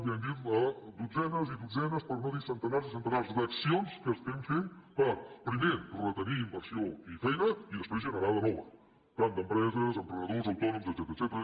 ja ho hem dit dotzenes i dotzenes per no dir centenars i centenars d’accions que estem fent per primer retenir inversió i feina i després generar ne de nova tant d’empreses emprenedors autònoms etcètera